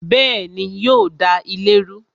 Bẹẹni, yo da ilé rú